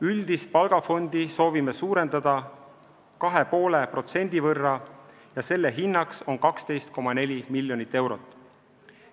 Üldist palgafondi soovime suurendada 2,5% võrra ja selle hinnaks on 12,4 miljonit eurot.